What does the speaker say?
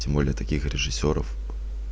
тем более таких режиссёров